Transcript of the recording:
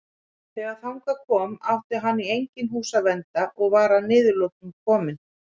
Þegar þangað kom átti hann í engin hús að vernda og var að niðurlotum kominn.